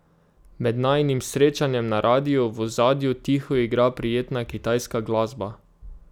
Med najinim srečanjem na radiu v ozadju tiho igra prijetna kitajska glasba.